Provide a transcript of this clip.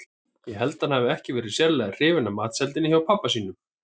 Ég held að hann hafi ekki verið sérlega hrifinn af matseldinni hjá pabba sínum.